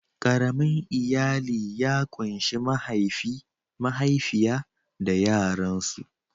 Ƙaramin iyali ya kunshi mahaifi, mahaifiya da yaransu.